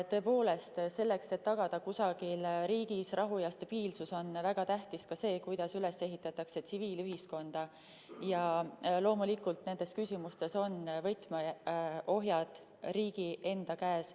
Tõepoolest, selleks et tagada kusagil riigis rahu ja stabiilsus, on väga tähtis ka see, kuidas ehitatakse üles tsiviilühiskond ja loomulikult nendes küsimustes on võtmeohjad riigi enda käes.